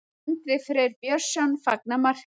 Andri Freyr Björnsson fagnar marki.